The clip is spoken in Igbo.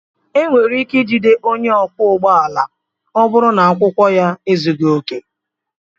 E nwere ike ijide onye ọkwọ ụgbọala ma ọ bụrụ na akwụkwọ ya ezughị oke.